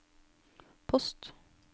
post